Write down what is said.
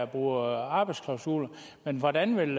bruger arbejdsklausuler men hvordan vil